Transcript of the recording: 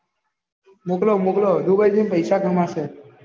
મોકલો મોકલો dubai જાય ને પેસા કમાશે